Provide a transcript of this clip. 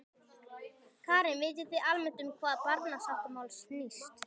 Karen: Vitið þið almennt um hvað barnasáttmálinn snýst?